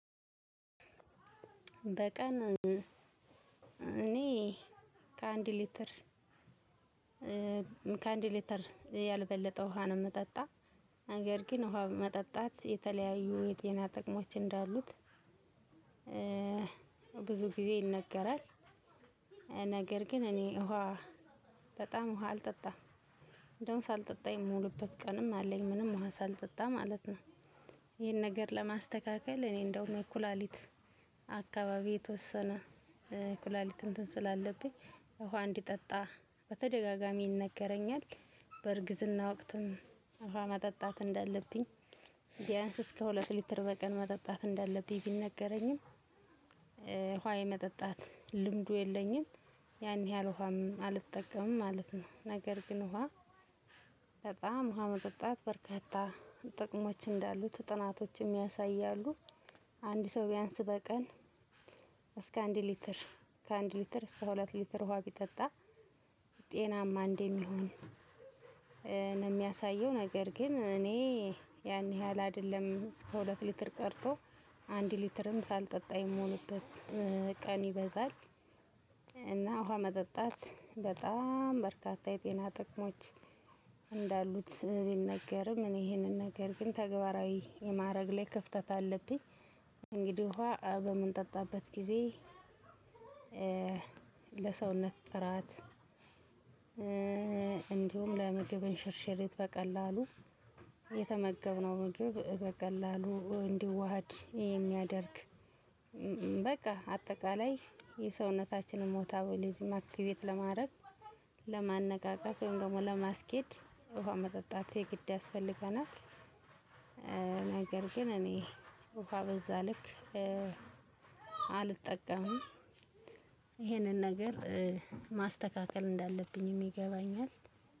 በቀን እኔ ከአንድ ሊትር እአንድ ሊትር ያልበለጠ ውሃ ነው ምጠጣ። ነገር ግን ውሃ መጠጣት የተለያዩ የጤና ጥቅሞች እንዳሉት ብዙ ጊዜ ይነገራል። ነገር ግን እኔ ውሃ በጣም ውሃ አልጠጣም። እንደውም ሳልጠጣ የምውልበት ቀንም አለኝ ምንም ውሃ ሳልጠጣ ማለት ነው። ይሄን ነገር ለማስተካከል እኔ እንደውም እኩላሊት አካባቢ የተወሰነ ኩላሊት እንትን ስላለብኝ ውሃ እንድጠጣ በተደጋጋሚ ይነገረኛል። በእርግዝና ወቅትም ውሃ መጠጣት እንዳለብኝ ቢያንስ እስከ ሁለት ሊትር በቀን መጠጣት እንዳለብኝ ቢነገረኝም። ውሃ የመጠጣት ልምዱ የለኝም። ያን ያህል ውሃም አልተጠቀምም ማለት ነው። ነገር ግን ውሃ በጣም ውሃ መጠጣት በርካታ ጥቅሞች እንዳሉት ጥናቶችም ያሳያሉ። አንድ ሰው ቢያንስ በቀን እስከ አንድ ሊትር ከአንድ ሊትር እስከ ሁለት ሊትር ውሃ ቢጠጣ ጤናማ እንደሚሆን። የሚያሳየው ነገር ግን እኔ ያን ያህል አይደለም እስከ ሁለት ሊትር ቀርቶ አንድ ሊትርም ሳልጠጣ የምውልበት ቀን ይበዛል። እና ውሃ መጠጣት በጣም በርካታ የጤና ጥቅሞች እንዳሉት ቢነገርም እኔ ይህንን ነገር ግን ተግባራዊ የማረግ ላይ ክፍተት አለብኝ። እንግዲህ ውሃ በምንጠጣበት ጊዜ ለሰውነት ጥራት እንዲሁም ለምግብ እንሽርሽሪት በቀላሉ የተመገብነው ምግብ በቀላሉ እንዲዋሃድ የሚያደርግ በቃ አጠቃላይ የሰውነታችንን ሞታበሊዝም አክቲቬት ለማድረግ ለማነቃቃት ወይም ደግሞ ለማስኬድ ውሃ መጠጣት የግድ ያስፈልገናል። ነገር ግን እኔ ውሃ በዛ ልክ አልጠቀምም። ይሄንን ነገር ማስተካከል እንዳለብኝም ይገባኛል።